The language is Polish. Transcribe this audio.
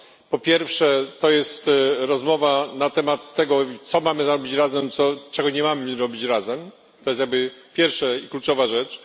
Po pierwsze jest to rozmowa na temat tego, co mamy robić razem i czego nie mamy robić razem to jest jakby pierwsza i kluczowa rzecz.